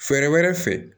Fɛɛrɛ wɛrɛ fɛ